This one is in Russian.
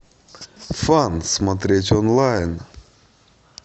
фан смотреть онлайн